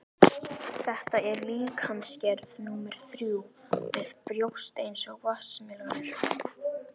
Þetta er líkamsgerð númer þrjú, með brjóst eins og vatnsmelónur.